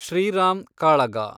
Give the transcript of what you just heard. ಶ್ರೀರಾಮ್ ಕಾಳಗ